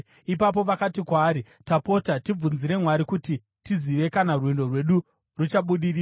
Ipapo vakati kwaari, “Tapota, tibvunzire Mwari kuti tizive kana rwendo rwedu ruchabudirira.”